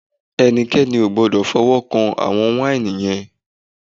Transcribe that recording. Ẹnikẹ́ni ò gbọ́dọ̀ fọwọ́ kàn àwọn wáìnì yẹn!